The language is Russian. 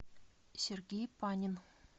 сергей панин